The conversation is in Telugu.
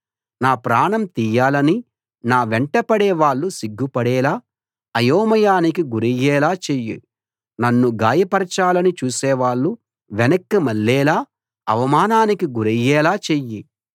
నా ప్రాణం తీయాలని నా వెంటపడే వాళ్ళు సిగ్గుపడేలా అయోమయానికి గురయ్యేలా చెయ్యి నన్ను గాయపరచాలని చూసేవాళ్ళు వెనక్కి మళ్లేలా అవమానానికి గురయ్యేలా చెయ్యి